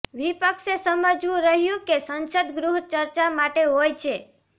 વિપક્ષે સમજવું રહ્યું કે સંસદ ગૃહ ચર્ચા માટે હોય છે